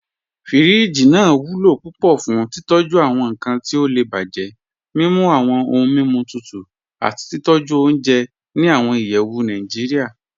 Fíríjì naa wulo púpọ̀ fún títọ̀jú awọn nkan ti ó lè bájẹ, mimú awọn ọ̀hun mímú tutù, àti títọ̀jú ọ̀unjẹ́ ní awọn ìyẹ́wù Nàìjíríà.